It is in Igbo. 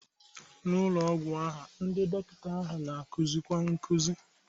N'ụlọ ọgwụ ahụ, ndị dọkịta ahụ na-akuzikwa nkuzi.